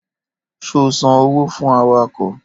Ṣò san òwó fún àwàkọ?